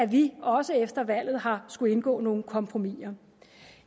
vi også efter valget har skullet indgå nogle kompromiser